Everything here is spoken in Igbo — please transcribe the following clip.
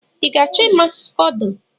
Ị ga-achọ ịma scodo?